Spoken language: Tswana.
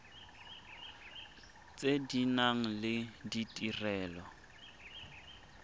tse di nang le ditirelo